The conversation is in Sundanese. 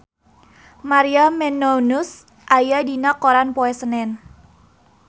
Maria Menounos aya dina koran poe Senen